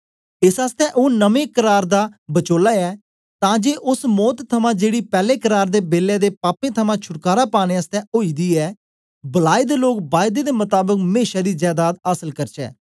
एस आसतै ओ नमें करार दा बचोले ऐ तां जे ओस मौत थमां जेड़ी पैले करार दे बेलै दे पापें थमां छुटकारा पाने आसतै ओई दी ऐ बलाए दे लोग बायदे दे मताबक मेशा दी जैदाद आसल करचै